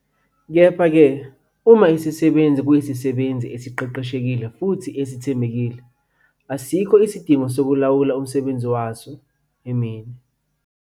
Kepha-ke uma isisebenzi A kuyisisebenzi esiqeqeshekile futhi esithembekile, kungebikho isidingo sokulawula umsebenzi waso emini.